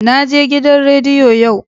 Naje gidan rediyo yau.